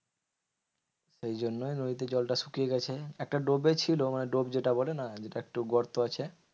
সেই জন্যই নদীতে জলটা শুকিয়ে গেছে। একটা ডোবে ছিল মানে ডোব যেটা বলে না? যেটা একটু গর্ত আছে।